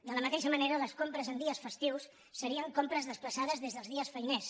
de la mateixa manera les compres en dies festius serien compres desplaçades des dels dies feiners